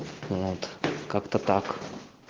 вот как-то так